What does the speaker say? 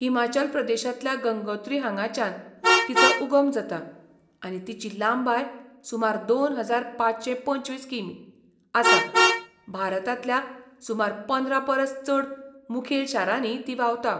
हिमाचल प्रदेशांतल्या गंगोत्री हांगाच्यान तिचो उगम जाता, आनी तिची लांबाय सुमार दोन हजार पांचशे पंचवीस किमी. आसा, भारतांतल्या सुमार पंदरा परस चड मुखेल शारांनी ती व्हांवता.